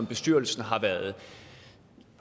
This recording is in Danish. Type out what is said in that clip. bestyrelsen har